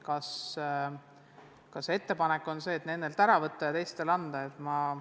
Kas ettepanek on nendelt toestus ära võtta ja teistele anda?